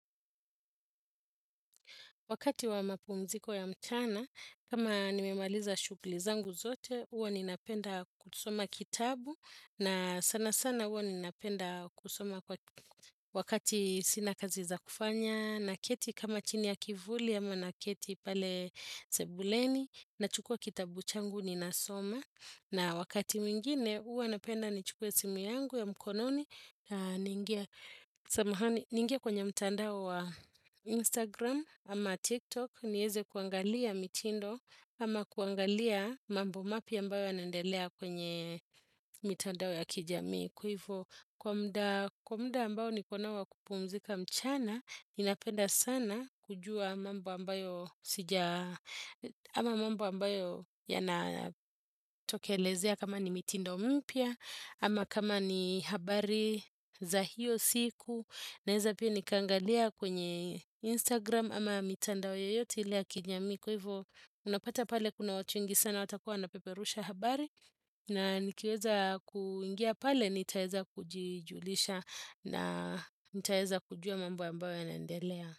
Wakati wa mapumziko ya mcana, kama nimemaliza shukli zangu zote, uwa ninapenda kusoma kitabu. Na sana sana uwa ninapenda kusoma wakati sina kazi za kufanya. Na keti kama chini ya kivuli ama na keti pale sebuleni. Na chukua kitabu changu ninasoma. Na wakati mwingine uwa napenda ni chukua simu yangu ya mkononi. Ningia kwenye mtandao wa Instagram ama TikTok. Nieze kuangalia mitindo ama kuangalia mambo mapya ambayo anandelea kwenye mitandao ya kijamii. Kwa hivyo kwa muda ambayo nikonawa kupumzika mchana. Ninapenda sana kujua mambo ambayo sija ama mambo ambayo yanatokelezea kama ni mitindo mpya ama kama ni habari za hiyo siku naeza pia nikangalia kwenye Instagram ama mitandao yoyote ile yakijami kwa hivo unapata pale kuna watu wengi sana watakuwa napeperusha habari na nikiweza kuingia pale nitaeza kujujulisha na nitaeza kujua mambo ambayo ya nendelea.